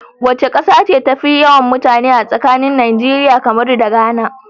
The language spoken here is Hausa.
Wace kasa ce tafi yawan mutane a tsakanin Nigeria, Cameron da Ghana?